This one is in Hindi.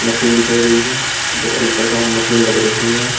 मशीन दिखाई गई है जो अल्ट्रासाउंड मशीन लग रही है।